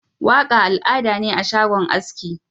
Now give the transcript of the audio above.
Waka al'ada ne a shagon aski.